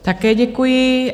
Také děkuji.